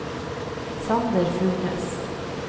Sander Furnes